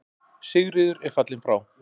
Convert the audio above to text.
Sigríður er fallin frá.